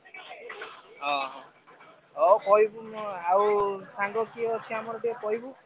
ଓହୋ ହଉ କହିବୁ ମୁଁ ଆଉ ସାଙ୍ଗ କିଏ ଅଛି ଆମର ଟିକେ କହିବୁ।